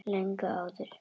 Löngu áður.